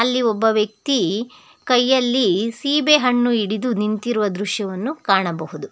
ಅಲ್ಲಿ ಒಬ್ಬ ವ್ಯಕ್ತಿ ಕೈಯಲ್ಲಿ ಸೀಬೆಹಣ್ಣು ಹಿಡಿದು ನಿಂತಿರುವ ದೃಶ್ಯವನ್ನು ಕಾಣಬಹುದು.